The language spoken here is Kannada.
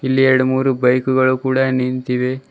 ಇಲ್ಲಿ ಎಲ್ಡ್ ಮೂರು ಬೈಕ್ ಗಳು ಕೂಡ ನಿಂತಿವೆ.